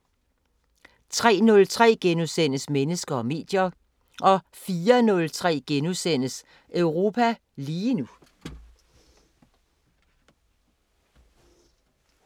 03:03: Mennesker og medier * 04:03: Europa lige nu *